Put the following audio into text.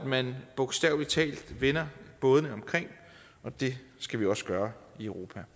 man bogstavelig talt vender bådene omkring og det skal vi også gøre i europa